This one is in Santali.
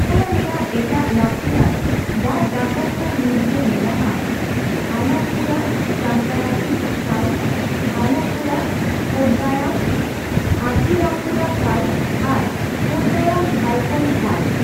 ᱠᱮᱨᱟᱞᱟ ᱨᱮᱭᱟᱜ ᱮᱴᱟᱜ ᱞᱟᱠᱛᱤᱭᱟᱱ ᱫᱟᱝ ᱰᱟᱦᱟᱨ ᱠᱚ ᱢᱩᱫ ᱨᱮ ᱢᱮᱱᱟᱜ ᱟ ᱟᱞᱟᱯᱯᱩᱨᱟᱼᱪᱟᱱᱜᱟᱱᱟᱥᱤ ᱠᱷᱟᱞ, ᱟᱞᱟᱵᱯᱩᱨᱟᱼᱠᱳᱴᱰᱟᱭᱟᱢᱼ ᱟᱛᱷᱤᱨᱟᱢᱯᱩᱨᱟ ᱠᱷᱟᱞ ᱟᱨ ᱠᱳᱴᱰᱟᱭᱟᱢ ᱵᱷᱟᱭᱠᱚᱢ ᱠᱷᱟᱞ ᱾